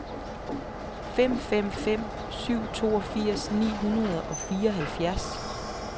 fem fem fem syv toogfirs ni hundrede og fireoghalvfjerds